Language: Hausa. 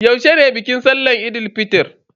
Yaushe ne bikin sallahn Eid fitr?